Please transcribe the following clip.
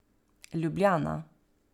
Ljubljana.